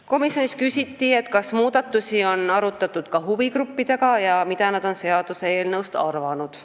Komisjonis küsiti, kas muudatusi on arutatud ka huvigruppidega ja mida nad on seaduseelnõust arvanud.